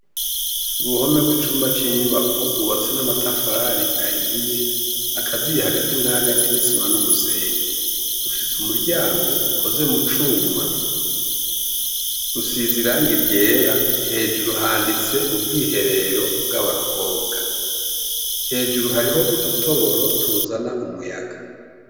Uruhome rw'icumba c'inyubako rwubatswe n'amatafari ahiye akaziye hagati na hagati n'isima n'umusenyi. Rufise umuryango ukoze mu cuma, rusize irangi ryera. Hejuru handitse "ubwiherero bw'abakobwa". Hejuru hariho udutoboro tuzana umuyaga.